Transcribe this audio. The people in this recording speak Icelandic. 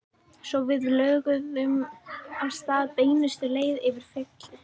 Svo við lögðum af stað beinustu leið yfir fjallið.